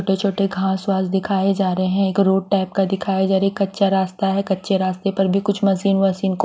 छोटे छोटे घास वास दिखाए जा रहे हैं एक रोड टाइप का दिखाया जा रहा है एक कच्चा रास्ता कच्चे रास्ते पर भी कुछ मशीन वशीन को--